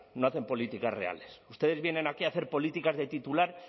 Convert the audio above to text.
no hacen políticas reales ustedes vienen aquí a hacer políticas de titular